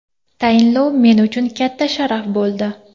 Tayinlov men uchun katta sharaf bo‘ldi.